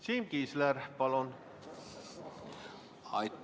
Siim Kiisler, palun!